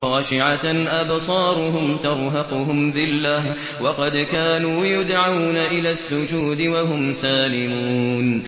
خَاشِعَةً أَبْصَارُهُمْ تَرْهَقُهُمْ ذِلَّةٌ ۖ وَقَدْ كَانُوا يُدْعَوْنَ إِلَى السُّجُودِ وَهُمْ سَالِمُونَ